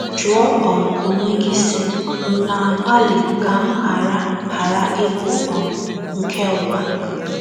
Jụọ um onwe gị, sị: ‘ M̀ na - agbalị ka m ghara ghara ịbụ um nke ụwa?